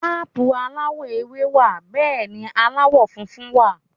Ápù aláwọ̀ ewé wà Bẹ́ẹ̀ni aláwọ̀ funfun wà